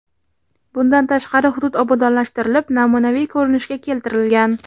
Bundan tashqari hudud obodonlashtirilib, namunaviy ko‘rinishga keltirilgan.